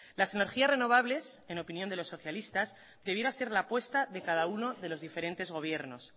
las energías renovables en opinión de los socialistas debiera ser la apuesta de cada uno de los diferentes gobiernos